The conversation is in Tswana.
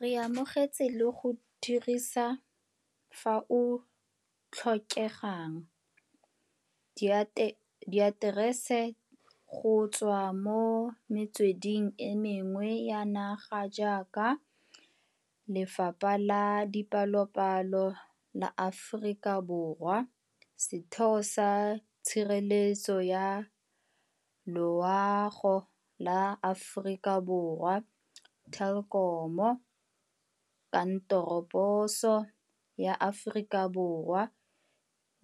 Re amogetse le go dirisa, fao o tlhokegang, diaterese go tswa mo metsweding e mengwe ya naga jaaka, Lefapa la Dipalopalo la Aforika Borwa, Setheo sa Tshireletso ya Loa go sa Aforika Borwa, Telkom, Kantoroposo ya Aforika Borwa